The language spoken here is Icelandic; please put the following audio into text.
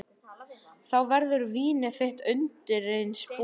Þá verður vínið þitt undireins búið.